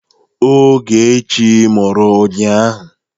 Ogechi mụrụ ụnyahụ.